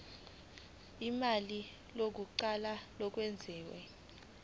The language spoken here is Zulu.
ulimi lokuqala olwengeziwe